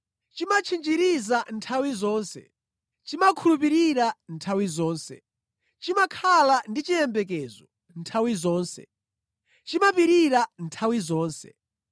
Chimatchinjiriza nthawi zonse, chimakhulupirika nthawi zonse, chimakhala ndi chiyembekezo nthawi zonse, chimapirira nthawi zonse.